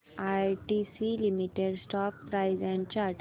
ITC limited stock price and chart